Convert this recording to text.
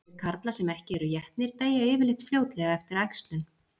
Þeir karlar sem ekki eru étnir deyja yfirleitt fljótlega eftir æxlun.